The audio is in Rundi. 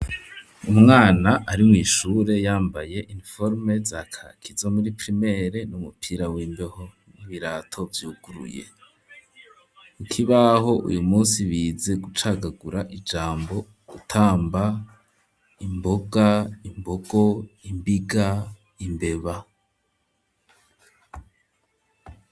Umwana ari mw'ishure yambaye iniforome za kaki zo muri pirimere n'umupira w'imbeho n'ibirato vyuguruye ikibaho uyu musi bize gucagagura ijambo gutamba, imboga, imbogo imbiga, imbeba.